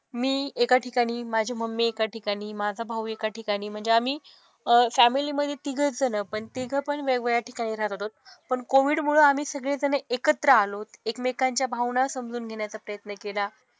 मी एका ठिकाणी, माझी मम्मी एका ठिकाणी, माझा भाऊ एका ठिकाणी. म्हणजे आम्ही अह फॅमिली मधे तिघंच जणं. पण तिघंपण वेगवेगळ्या ठिकाणी राहत होतो. पण कोविडमुळं आम्ही सगळेजणं एकत्र आलोत. एकमेकांच्या भावना समजून घेण्याचा प्रयत्न केला.